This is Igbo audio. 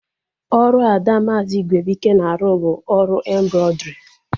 Ọrụ ada maazi Igwebuike na-arụ bụ ọrụ embrọidrii